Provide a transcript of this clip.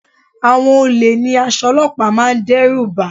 Àwọn olè ní aṣọ olọ́pàá máa ń dẹ́rùbà